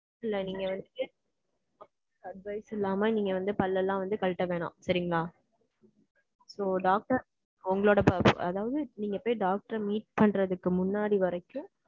இல்ல நீங்க வந்து Advice இல்லாம, நீங்க வந்து, பல்லெல்லாம் வந்து, கழட்ட வேணாம். சரிங்களா? So, doctor உங்களோட அதாவது, நீங்க போய், doctor அ meet பண்றதுக்கு முன்னாடி வரைக்கும்,